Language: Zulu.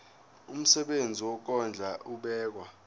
umsebenzi wokondla ubekwa